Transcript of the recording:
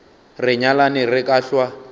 re nyalane re ka hlwa